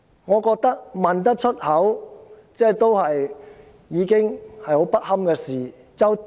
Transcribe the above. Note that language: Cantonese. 我覺得提出這個問題已是很不堪的事情。